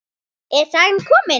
Er sagan komin?